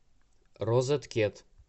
розеткед